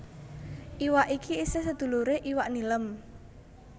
Iwak iki isih seduluré iwak nilem